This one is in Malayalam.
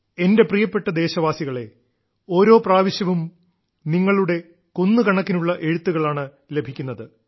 എന്റെ പ്രിയപ്പെട്ട ദേശവാസികളേ ഓരോ പ്രാവശ്യവും നിങ്ങളുടെ കുന്നുകണക്കിനുള്ള എഴുത്തുകളാണ് ലഭിക്കുന്നത്